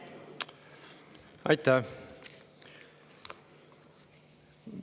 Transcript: Aitäh!